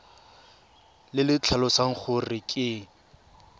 le le tlhalosang gore ke